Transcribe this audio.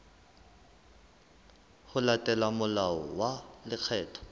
ho latela molao wa lekgetho